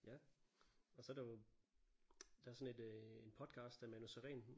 Ja og så er der jo der er sådan et øh en podcast af Manu Sareen